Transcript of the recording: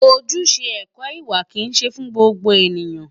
Ojúṣe ẹ̀kọ́ ìwà kìí ṣe fún gbogbo ènìyàn.